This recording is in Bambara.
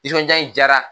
Nisɔndiya in diyara